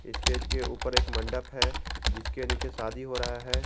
Stage के ऊपर एक मंडप है जिसके नीचे शादी हो रहा है।